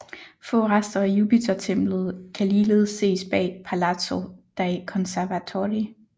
Få rester af Jupitertemplet kan ligeledes ses bag Palazzo dei Conservatori